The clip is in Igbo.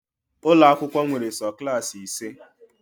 Ụlọ akwụkwọ nwere sọ Klassị ise